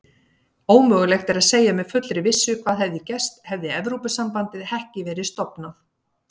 Ómögulegt er að segja með fullri vissu hvað hefði gerst hefði Evrópusambandið ekki verið stofnað.